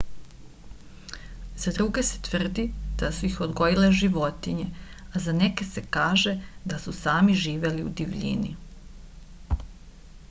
za druge se tvrdi da su ih odgojile životinje za neke se kaže da su sami živeli u divljini